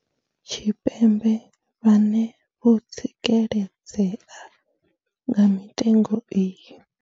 Tshipembe vhane vho tsikeledzea nga mitengo iyi.